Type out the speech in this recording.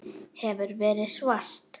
Hefur verið svart.